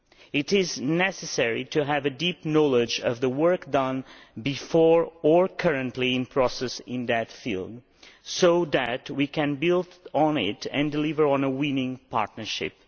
It is necessary to have a deep knowledge of the work that has been done before or is currently in progress in that field so that we can build on it and deliver on a winning partnership.